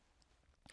TV 2